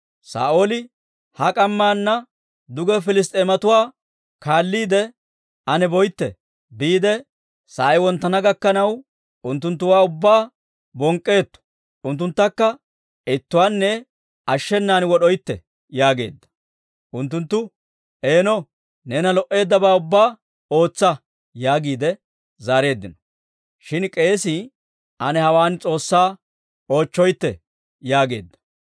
Saa'ooli, «Ha k'ammaana duge Piliss's'eematuwaa kaalliide ane boytte; sa'ay wonttana gakkanaw, unttunttuwaa ubbaa bonk'k'oytte; unttunttakka ittuwaanne ashshenan wod'oytte» yaageedda. Unttunttu, «Eeno, neena lo"eeddabaa ubbaa ootsa» yaagiide zaareeddino. Shin k'eesii, «Ane hawaan S'oossaa oochcheetto» yaageedda.